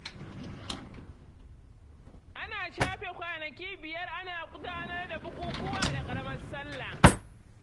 Ana shafe kwanaki biyar ana gudanar da bukukuwa da ƙaramar salla.